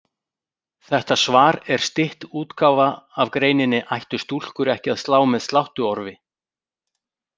Þetta svar er stytt útgáfa af greininni Ættu stúlkur ekki að slá með sláttuorfi?